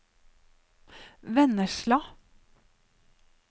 Vennesla